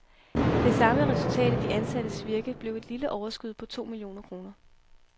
Det samlede resultat af de ansattes virke blev et lille overskud på to millioner kroner.